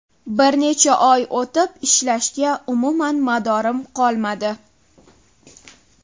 Bir necha oy o‘tib ishlashga umuman madorim qolmadi.